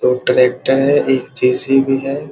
दो ट्रैक्टर है एक जे.सी.बी. है।